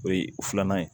O ye filanan ye